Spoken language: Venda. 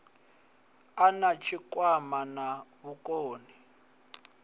a na tshikwama na vhukoni